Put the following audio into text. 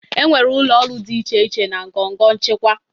Enwere ụlọ ọrụ dị iche iche na ngọngọ nchịkwa.